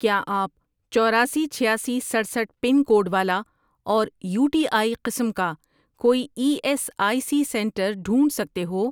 کیا آپ چوراسی، چھیاسی، سٹرسٹھ ، پن کوڈ والا اور یو ٹی آئی قسم کا کوئی E S I C centre ڈھونڈ سکتے ہو؟